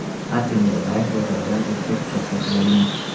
A. Tenelbayev bozordan o‘ziga pichoq sotib olgan.